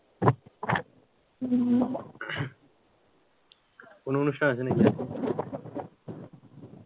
না কোন অনুষ্ঠান আছে নাকি,